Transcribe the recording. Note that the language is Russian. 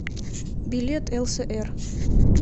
билет лср